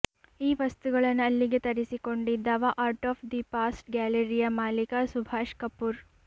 ಈ ವಸ್ತುಗಳನ್ನು ಅಲ್ಲಿಗೆ ತರಿಸಿಕೊಂಡಿದ್ದವ ಆರ್ಟ್ ಆಫ್ ದಿ ಪಾಸ್ಟ್ ಗ್ಯಾಲರಿಯ ಮಾಲಿಕ ಸುಭಾಷ್ ಕಪೂರ್